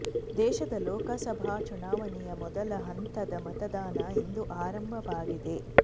ದೇಶದ ಲೋಕಸಭಾ ಚುನಾವಣೆಯ ಮೊದಲ ಹಂತದ ಮತದಾನ ಇಂದು ಆರಂಭವಾಗಿದೆ